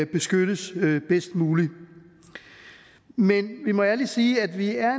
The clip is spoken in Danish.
beskyttes bedst muligt men vi må ærligt sige at vi er